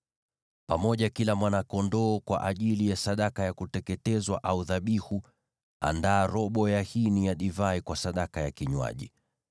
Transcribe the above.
Pamoja na kila mwana-kondoo kwa ajili ya sadaka ya kuteketezwa au dhabihu, andaa robo ya hini ya divai kwa sadaka ya kinywaji.